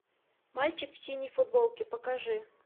мальчик в синей футболке покажи